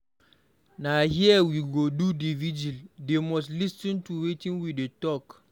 Na here we go do the vigil. They must lis ten to wetin we dey talk.